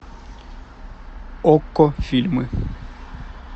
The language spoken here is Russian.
окко фильмы